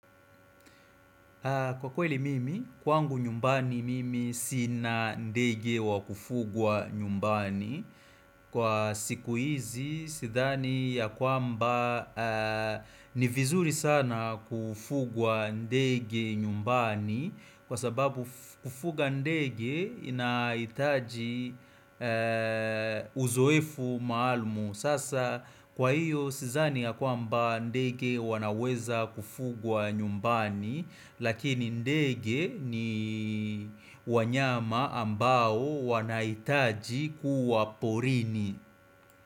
Kwa kweli mimi, kwangu nyumbani mimi sina ndege wa kufugwa nyumbani Kwa siku hizi, sidhani ya kwamba ni vizuri sana kufugwa ndege nyumbani Kwa sababu kufuga ndege inaitaji uzoefu maalumu Sasa kwa hiyo, sidhani ya kwamba ndege wanaweza kufugwa nyumbani Lakini ndege ni wanyama ambao wanaitaji kuwaporini.